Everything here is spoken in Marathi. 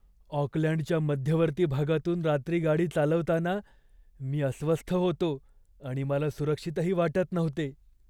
ऑकलँडच्या मध्यवर्ती भागातून रात्री गाडी चालवताना मी अस्वस्थ होतो आणि मला सुरक्षितही वाटत नव्हते.